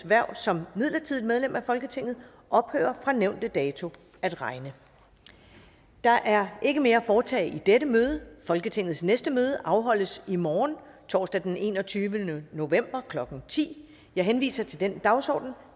hverv som midlertidigt medlem af folketinget ophører fra nævnte dato at regne der er ikke mere at foretage i dette møde folketingets næste møde afholdes i morgen torsdag den enogtyvende november klokken ti jeg henviser til den dagsorden